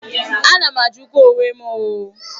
A na m ajukwa onwe m ooo.